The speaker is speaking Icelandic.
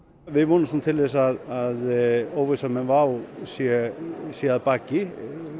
við vonumst til þess að óvissan með WOW sé sé að baki